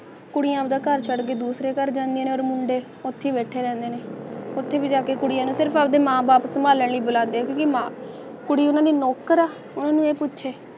ਕੁੜੀਆਂ ਦਾ ਘਰ ਛੱਡ ਕੇ ਦੂਸਰੇ ਘਰ ਜਾਂਦੀ ਹਰ ਮੁੰਡੇ ਪੱਖੀ ਬੈਠੀ ਰਹਿੰਦੀ ਹੈ ਫਿਰ ਆ ਕੇ ਕੁੜੀਆਂ ਦੇ ਮਾਂ-ਬਾਪ ਸਭਾਲਣ ਗੁਲਾਬੀ